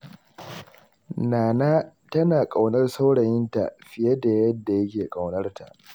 Nana tana ƙaunar saurayinta fiye da yadda yake ƙaunar ta.